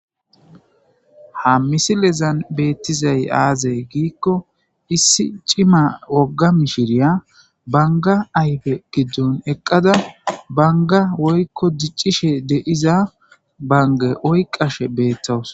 ha misilezan beettizay aazay giikko issi cima wogga mishiriya banga ayfe giddon eqqada banga woykko diccishe deiza banga oy qashe beettoos